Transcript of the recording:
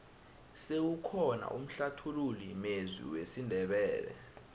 sewukhona umhlathululi mezwi wesindebele